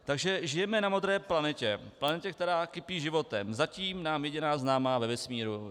Takže žijeme na modré planetě, planetě, která kypí životem, zatím nám jediná známá ve vesmíru.